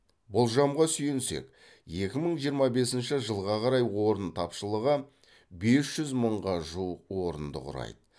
болжамға сүйенсек екі мың жиырма бесінші жылға қарай орын тапшылығы бес жүз мыңға жуық орынды құрайды